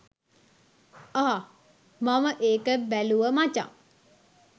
අහ් මම ඒක බැලුව මචං